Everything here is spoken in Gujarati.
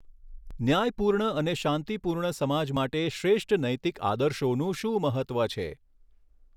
ન્યાયપૂર્ણ અને શાંતિ પૂર્ણ સમાજ માટે શ્રેષ્ઠ નૈતિક આદર્શોનું શું મહત્ત્વ છે?